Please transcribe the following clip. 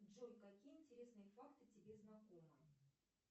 джой какие интересные факты тебе знакомы